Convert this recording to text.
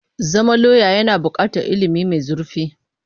Zama lauya yana buƙatar ilimi mai zurfi.